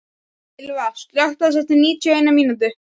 Ylva, slökktu á þessu eftir níutíu og eina mínútur.